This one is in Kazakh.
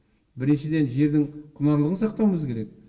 біріншіден жердің құнарлығын сақтауымыз керек